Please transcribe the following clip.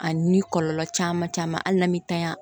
A ni kɔlɔlɔ caman caman hali n'an mi tanya